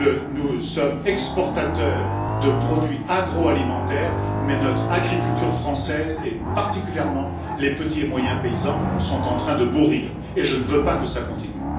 Nous sommes exportateurs de produits agroalimentaires, mais notre agriculture française et particulièrement les petits et moyens paysans sont en train de mourir, et je ne veux pas que ça continue.